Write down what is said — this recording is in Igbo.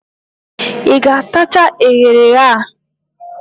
Ị ga-atacha eghere eghe a?